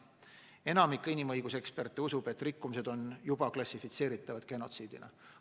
Enamik inimõiguseksperte usub, et rikkumised on juba klassifitseeritavad genotsiidina.